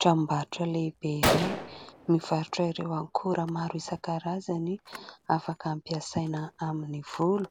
Tranom-barotra lehibe iray mivarotra ireo akora maro isan-karazany afaka ampiasaina amin'ny volo,